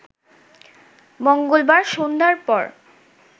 মঙ্গলবার সন্ধ্যার পর